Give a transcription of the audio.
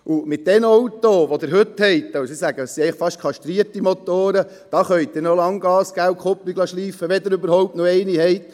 Mit den Autos, die man heute hat – ich sage, es sind fast kastrierte Motoren –, da können Sie noch lange Gas geben und die Kupplung schleifen lassen, wenn Sie überhaupt noch eine haben.